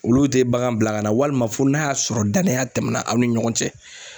Olu te bagan bila ka na walima fo n'a y'a sɔrɔ danaya tɛmɛna aw ni ɲɔgɔn cɛ.